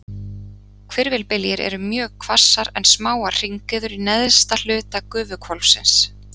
Hvirfilbyljir eru mjög hvassar en smáar hringiður í neðsta hluta gufuhvolfsins.